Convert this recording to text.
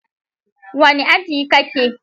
Wane aji ka ke?